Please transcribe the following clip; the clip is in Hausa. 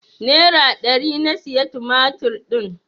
Nera ɗari na siya tumatir din.